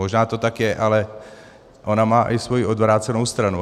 Možná to tak je, ale ona má i svoji odvrácenou stranu.